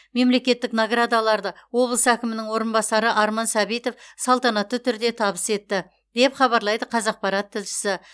мемлекеттік наградаларды облыс әкімінің орынбасары арман сәбитов салтанатты түрде табыс етті деп хабарлайды қазақпарат тілшісі